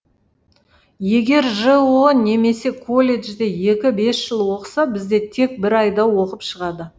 егер жоо немесе колледжде екі бес жыл оқыса бізде тек бір айда оқып шығады